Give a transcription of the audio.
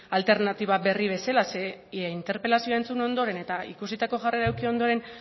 alternatiba berri bezala zeren interpelazio entzun ondoren eta ikusitako jarrera eduki ondoren